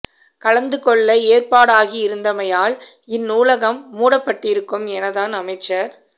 கலந்து கொள்ள ஏற்பாடாகிருந்தமையால் இந் நூலகம் மூடப்பட்டிருக்கும் என தான் அமைச்சர்